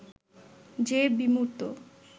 যে বিমূর্ত